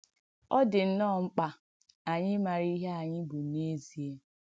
Ọ̀ dị̀ nnọ́ọ̀ mkpà ànyị̣ ìmàrà ìhé ànyị̣ bụ̀ n’èzìe!